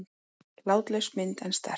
Látlaus mynd en sterk.